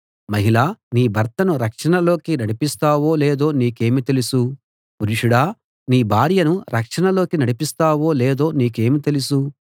మహిళా నీ భర్తను రక్షణలోకి నడిపిస్తావో లేదో నీకేమి తెలుసు పురుషుడా నీ భార్యను రక్షణలోకి నడిపిస్తావో లేదో నీకేమి తెలుసు